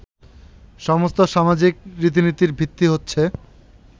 সমস্ত সামাজিক রীতিনীতির ভিত্তি হচ্ছে